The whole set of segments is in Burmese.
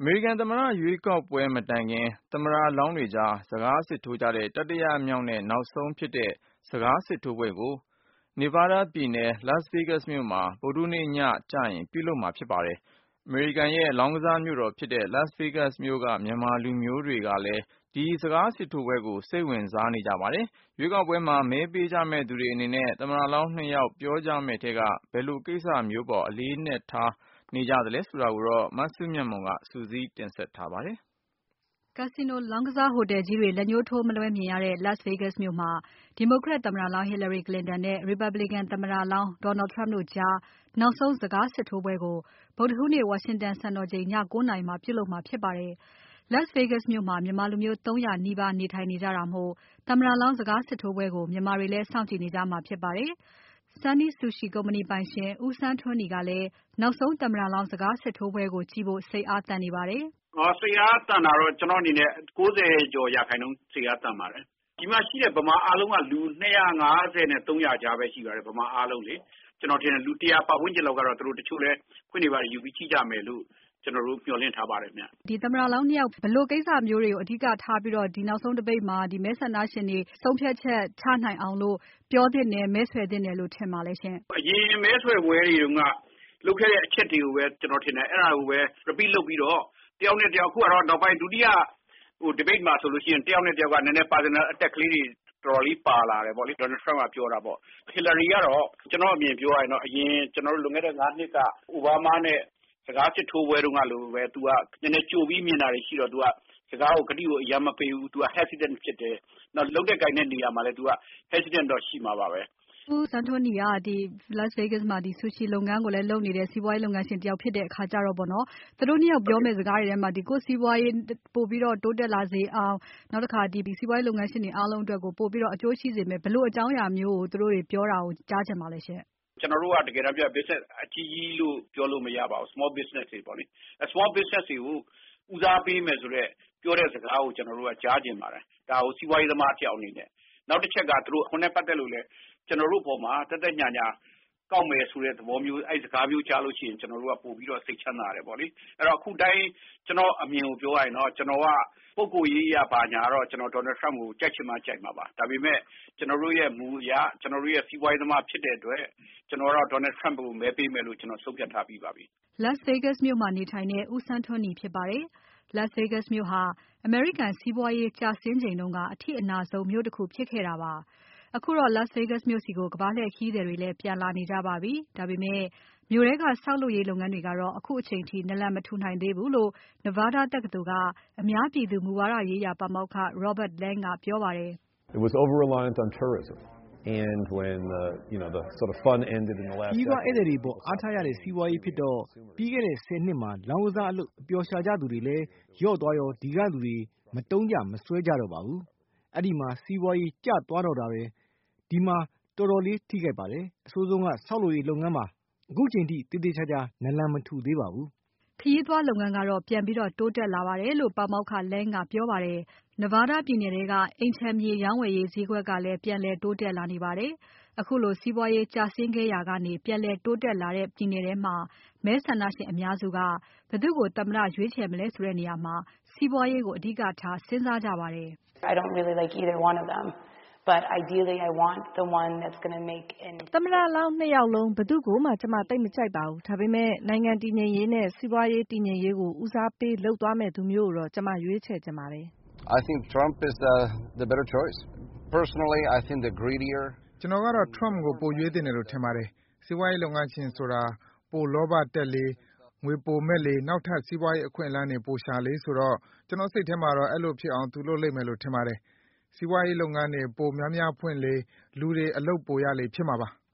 အမေရိကန်သမ္မတရွေးကောက်ပွဲ မတိုင်ခင်သမ္မတလောင်းတွေကြား စကားစစ်ထိုးကြတဲ့ တတိယမြောက်နဲ့ နောက်ဆုံးဖြစ်တဲ့ စကားစစ်ထိုးပွဲကို Nevada ပြည်နယ် Las Vegas မြို့မှာ ဗုဒ္ဓဟူးနေ့ညကျရင်ပြုလုပ်မှာဖြစ်ပါတယ်။ အမေရိကန်ရဲ့ လောင်းကစားမြို့တော်ဖြစ်တဲ့ Las Vegas မြို့က မြန်မာလူမျိုးတွေကလည်း ဒီစကားစစ်ထိုးပွဲကို စိတ်ဝင်စားနေကြပါတယ်။ ရွေးကောက်ပွဲမှာ မဲပေးကြမယ့်သူတွေအနေနဲ့ သမ္မတလောင်း ၂ ယောက်ပြောကြမယ့်ထဲက ဘယ်လိုကိစ္စမျိူးအပေါ် အလေးထားနေကြသလဲဆိုတာကို မစုမြတ်မွန်က စုစည်းတင်ပြပါမယ်။ Casino လောင်းကစားဟိုတယ်ကြီးတွေ လက်ညိုးထိုးမလွဲမြင်ရတဲ့ Las Vegas မြို့မှာ ဒီမိုကရက်သမ္မတလောင်း Hillary Clinton နဲ့ Republican သမ္မတလောင်း Donald Trump တို့ကြား နောက်ဆုံးစကားစစ်ထိုးပွဲကို ဗုဒ္ဓဟူးနေ့ ဝါရှင်တန်စံတော်ချိန် ည ၉ နာရီမှာ ပြုလုပ်မှာဖြစ်ပါတယ်။ Las Vegas မြို့မှာ မြန်မာလူမျိုး ၃၀၀ နီးပါးနေထိုင်နေကြတာမို့ သမ္မတလောင်း စကားစစ်ထိုးပွဲကို မြန်မာတွေလည်း စောင့်ကြည့်နေကြမှာ ဖြစ်ပါတယ်။ Sonny Sushi ကုမ္ပဏီပိုင်ရှင် ဦးဆန်းထွန်းနီကလည်း နောက်ဆုံးသမ္မတလောင်းစကားစစ်ထိုးပွဲကို ကြည့်ဖို့ စိတ်အားသန်နေပါတယ်။ “စိတ်အားသန်တာကတော့ ကျနော့်အနေနဲ့ ၉၀%ကျော် စိတ်အားသန်ပါတယ်။ ဒီမှာရှိတဲ့ ဗမာအားလုံးက လူ ၂၅၀ နဲ့ ၃၀၀ ကြားပဲ ရှိပါတယ်။ ဗမာအားလုံးလေ။ ကျနော်ထင်တယ် လူ ၁၀၀ ပတ်ဝန်းကျင်လောက်ကတော့ တချို့လည်း ခွင့်တွေဘာတွေယူပြီးတော့ကို ကြည့်ကြမယ်လို့ မျှော်လင့်ထားပါတယ်။” မေး - သမ္မတလောင်းနှစ်ယောက် ဘယ်လိုကိစ္စမျိုးတွေကို အဓိထားပြီး နောက်ဆုံး Debate မှာ မဲဆန္ဒရှင်တွေ ဆုံးဖြတ်ချက်ချနိုင်အောင်လို့ ပြောသင့်တယ်၊ မဲဆွယ်သင့်တယ်လို့ ထင်ပါလဲ။ ဖြေ - “အရင် မဲဆွယ်ပွဲတွေတုန်းက လုပ်ခဲ့တဲ့အချက်တွေကိုပဲ အဲဒါကိုပဲ repeat လုပ်ပြီးတော့ အခုဟာကတော့ နောက်ပိုင်း ဒုတိယ debate မှာဆိုရင် တယောက်နဲ့တယောက်က personal attack လေးတွေ တော်တော်လေး ပါလာတယ်ပေါ့လေ။ Donald Trump က ပြောတာပေါ့။ Hillary ကတော့ ကျနော့်အမြင် ပြောရရင်တော့ လွန်ခဲ့တဲ့ ၅ နှစ်က အိုဘားမားနဲ့ စကားစစ်ထိုးပွဲတုန်းကလို သူက ကြိုပြီး မြင်တာတွေရှိတော့ သူက ကတိကို အရမ်းမပေးဘူး။ သူက hesitant ဖြစ်တယ်။ လုပ်တဲ့ကိုင်တဲ့နေရာမှာလည်း သူက hesitant တော့ ရှိမှာပါပဲ။” မေး - ဦးဆန်းထွန်းနီက Las Vegas မှာ ဆူရှီလုပ်ငန်းကိုလည်း လုပ်နေတဲ့ စီးပွားရေး လုပ်ငန်းရှင်တယောက် ဖြစ်တဲ့အခါကျတော့ သူတို့နှစ်ယောက်ပြောမယ့် စကားတွေထဲမှာ ကိုယ့်စီးပွားရေး ပိုပြီးတော့ တိုးတက်လာစေအောင် နောက်တခါ စီးပွားရေးလုပ်ငန်းရှင်တွေ အားလုံးအတွက်ကို ပိုပြီးတော့ အကျိုးရှိစေမယ့် ဘယ်လိုအကြောင်းအရာမျိုး သူတို့တွေ ပြောတာကို ကြားချင်ပါလဲရှင့်။ ဖြေ - “ကျနော်တို့က တကယ်တမ်းပြောရင် လုပ်ငန်းအကြီးကြီးလို့ ပြောလို့မရပါဘူး။ လုပ်ငန်းငယ်လေးပါ။ လုပ်ငန်းငယ်လေးတွေကို ဦးစားပေးမယ်ဆိုတဲ့ ပြောတဲ့စကားမျိုးကို ကျနော်တို့က ကြားချင်ပါတယ်။ ဒါကို စီးပွားရေးသမားတယောက်အနေနဲ့ပေါ့။ နောက်တချက်က အခွန်နဲ့ ပတ်သက်လို့လည်း ကျနော်တို့အပေါ်မှာ သက်သက်ညှာညှာ ကောက်မယ်ဆိုတဲ့စကားမျိုး အဲ့လိုမျိုးကြားရလို့ရှိရင် ကျနော်တို့က ပိုပြီးတော့ စိတ်ချမ်းသာတယ်ပေါ့လေ။ အခုအတိုင်း ကျနော့်အမြင်ကို ပြောရရင်တော့ ကျနော်က ပုဂ္ဂိုလ်ရေးအရတော့ ကျနော်က Donald Trump ကို ကြိုက်ချင်မှကြိုက်မှာပေါ့။ ဒါပေမဲ့ ကျနော်တို့ရဲ့ မူအရ စီးပွားရေးသမားဖြစ်တဲ့အတွက် Donald Trump ကို မဲပေးမယ်လို့ ဆုံးဖြတ်ထားပြီးပါပြီ။” Las Vegas မြို့မှာနေထိုင်တဲ့ ဦးဆန်းထွန်းနီ ဖြစ်ပါတယ်။ Las Vegas မြို့ဟာ အမေရိကန် စီးပွားရေး ကျဆင်းချိန်တုန်းက အထိအနာဆုံး မြို့တခုဖြစ်ခဲ့တာပါ။ အခုတော့ Las Vegas မြို့ဆီကို ကမ္ဘာလှည့်ခရီးသည်တွေ ပြန်လာနေကြပါပြီ။ ဒါပေမဲ့ မြို့ထဲက ဆောက်လုပ်ရေးလုပ်ငန်းတွေကတော့ ခုချိန်ထိ နလန်မထူသေးဘူးလို့ Nevada တက္ကသိုလ်က အများပြည်သူ မူဝါဒရေးရာ ပါမောက္ခ Robert Lang ကပြောပါတယ်။ “ခရီးသွားဧည့်သည်တွေပေါ်မှာ အားထားရတဲ့ စီးပွားရေးဖြစ်တော့ ပြီးခဲ့တဲ့ ၁၀ နှစ်မှာ လောင်းကစားလုပ် အပျော်ရှာကြသူတွေလည်း လျော့သွားရော ဒီကလူတွေက မသုံးကြမစွဲကြတော့ဘူး၊ အဲဒီမှာ စီးပွားရေးကျသွားတော့တာပဲ၊ ဒီမှာ တော်တော်လေး ထိခိုက်ပါတယ်။ အဆိုးဆုံးက ဆောက်လုပ်ရေးလုပ်ငန်းမှာပါ၊ အခုအချိန်ထိလည်း သေသေချာချာ နလန်မထူသေးပါဘူး။” ခရီးသွားလုပ်ငန်းကတော့ ပြန်ပြီးတိုးတက်လာတယ်လို့ ပါမောက္ခ Lang က ပြောပါတယ်။ Nevada ပြည်နယ်ရဲ့ အိမ်ခြံမြေ ရောင်းဝယ်ရေးဈေးကွက်ကလည်း ပြန်လည်တိုးတက်လာနေပါတယ်။ ခုလို စီးပွားရေးကျဆင်းခဲ့ရာကနေ ပြန်လည်တိုးတက်လာတဲ့ ပြည်နယ်ထဲမှာ မဲဆန္ဒရှင်အများစုက ဘယ်သူ့ကို သမ္မတရွေးချယ်မလဲဆိုတဲ့ နေရာမှာ စီးပွားရေးကိစ္စကို အဓိကထား စဉ်းစားကြပါတယ်။ “သမ္မတလောင်း ၂ ယောက်လုံး ဘယ်သူ့ကိုမှ ကျမသိပ်မကြိုက်ပါဘူး၊ ဒါပေမဲ့ နိုင်ငံတည်ငြိမ်ရေးနဲ့ စီးပွားရေးတည်ငြိမ်ရေးကို ဦးစားပေးလုပ်သွားမယ့်သူမျိုးကို ကျမရွေးချယ်ချင်ပါတယ်။” “ကျတော်ကတော့ Trump ကိုပိုရွေးသင့်တယ်လို့ထင်ပါတယ်။ စီးပွားရေးလုပ်ငန်းရှင်ဆိုတာ ပိုလောဘတက်လေ၊ ငွေပိုမက်လေ နောက်ထပ် စီးပွားရေးအခွင့်အလမ်းတွေ ပိုရှာလေဆိုတော့ ကျတော့်စိတ်ထဲမှာတော့ အဲလိုဖြစ်အောင် သူလုပ်လိမ့်မယ်လို့ ထင်တယ်။ သူစီးပွားရေးလုပ်ငန်းတွေ ပိုများများဖွင့်လေ လူတွေ အလုပ်ပိုရလေဖြစ်မှာပါ။”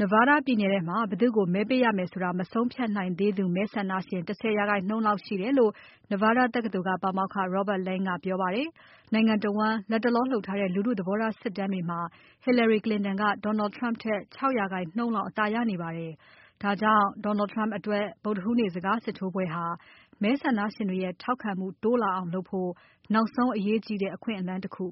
Nevada ပြည်နယ်ထဲမှာ ဘယ်သူ့ကို မဲပေးရမယ်ဆိုတာ မဆုံးဖြတ်နိုင်သေးသူမဲဆန္ဒရှင် ၁၀% လောက်ရှိတယ်လို့ Nevada တက္ကသိုလ်က ပါမောက္ခ Robert Lang က ပြောပါတယ်။ နိုင်ငံတဝန်း လတ်တလောလုပ်ထားတဲ့ လူထု သဘောထားစစ်တမ်းတွေမှာ Hillary Clinton က Donald Trump ထက် ၆% လောက် အသာရနေပါတယ်။ ဒါကြောင့် Donald Trump အတွက် ဗုဒ္ဓဟူးနေ့ စကားစစ်ထိုးပွဲဟာ မဲဆန္ဒရှင်တွေရဲ့ ထောက်ခံမှုတိုးလာအောင်လုပ်ဖို့ နောက်ဆုံး အရေးကြီးတဲ့ အခွင့်အလမ်းတခု